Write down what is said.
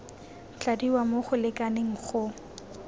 tladiwa mo go lekaneng go